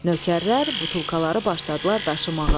Nökərlər butulkaları başladılar daşımağa.